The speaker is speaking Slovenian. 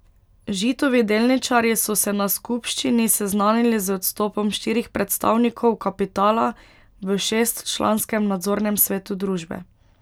Žitovi delničarji so se na skupščini seznanili z odstopom štirih predstavnikov kapitala v šestčlanskem nadzornem svetu družbe.